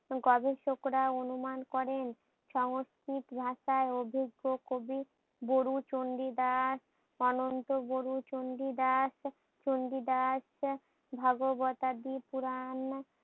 গবেষকরা করে অনুমান করেন। সংস্কৃত ভাষায় অভিজ্ঞ কবি গুরু চন্ডি দাস অনন্ত গুরু চন্ডি দাস চন্ডি দাস ভগবত দিপুরান